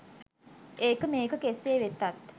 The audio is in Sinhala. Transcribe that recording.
ඒක මේක කෙසේ වෙතත්.